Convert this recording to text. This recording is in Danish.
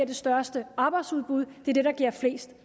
det største arbejdsudbud det er det der giver flest